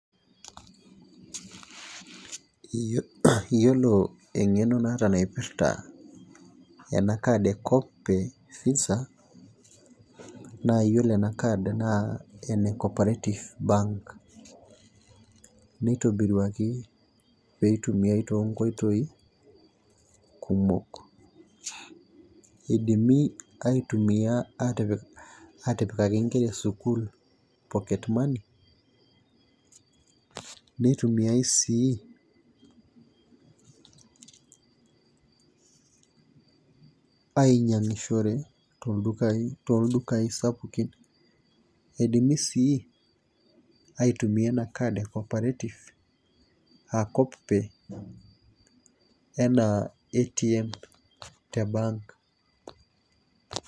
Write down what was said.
Iyiolo eng'eno naata naipirta ena card ee coop pay visa, naa iyiolo ena card naa ene cooperative bank. neitobiruaki pee eitumiae too nkoitoi kumok. idimi aitumia aatipikaki nkera esukuul, pocket money neitumiae sii ainyiang'ishore tooldukai sapukin. eidimi sii aitumia ena card e cooperative aa coop pay. enaa ATM te bank.